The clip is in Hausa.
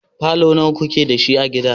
falo nawa ku ke da shi a gida?